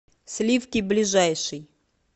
сливки ближайший